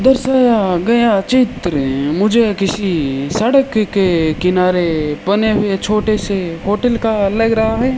दर्शया गया चित्र मुझे किसी सड़क के किनारे बने हुए छोटे से होटल का लग रहा है।